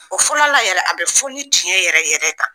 O fɔlɔla yɛrɛ a bɛ fɔ ni tiɲɛ yɛrɛ yɛrɛ kan.